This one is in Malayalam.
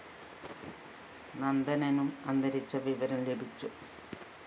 നന്ദനനും അന്തരിച്ച വിവരം ലഭിച്ചു